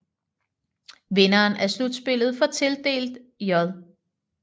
Vinderen af slutspillet får tildelt J